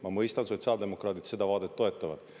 Ma mõistan, et sotsiaaldemokraadid seda vaadet toetavad.